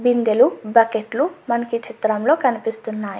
బిందెలు బకెట్లు మనకి ఈ చిత్రంలో కనిపిస్తున్నాయి.